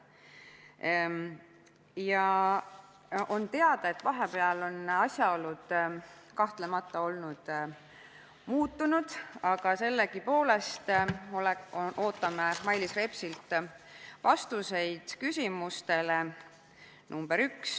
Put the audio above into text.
Kahtlemata on teada, et vahepeal on asjaolud muutunud, aga sellegipoolest ootame Mailis Repsilt vastuseid oma küsimustele.